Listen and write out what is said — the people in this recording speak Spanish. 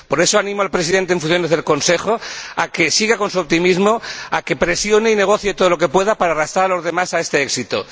Por eso, animo al Presidente en funciones del Consejo a que siga con su optimismo y a que presione y negocie todo lo que pueda para arrastrar a los demás hacia este éxito.